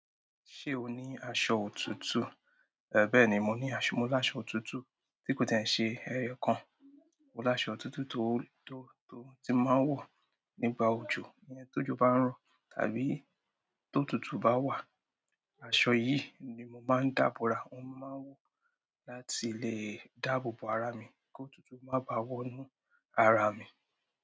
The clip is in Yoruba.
Ṣé o ní aṣọ òtútù? Bẹ́ẹ̀ ni, mo ní aṣọ, mo láṣọ òtútù tí kò tiẹ̀ ń ṣe ẹyọkan. Mo láṣọ òtútù tó, tó, tó tí n máa ń wọ̀ nígbà òjò, ìyẹn tójo bá ń rọ tàbí tó'tùútù bá wà. Aṣọ yìí ni mo máa ń dà bora. Òun mo máa ń wọ̀ láti lè dáàbò bo ara mi k'ótútù má báà wọ́nú ara mi.